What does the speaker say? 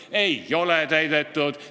Ei ole täidetud.